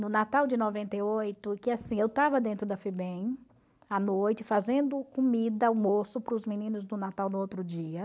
No Natal de noventa e oito que assim, eu estava dentro da FIBEM, à noite, fazendo comida, almoço, para os meninos do Natal no outro dia.